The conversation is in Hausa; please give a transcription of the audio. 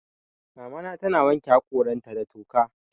Mamana tana wanke haƙoranta da toka.